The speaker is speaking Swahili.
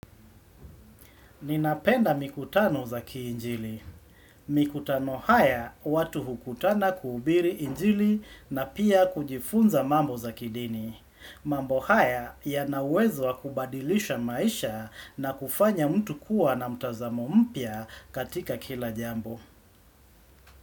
Ninapenda mikutano za kiinjili. Mikutano haya watu hukutana kuubiri injili na pia kujifunza mambo za kidini. Mambo haya yanawezwa kubadilisha maisha na kufanya mtu kuwa na mtazamo mpya katika kila jambo.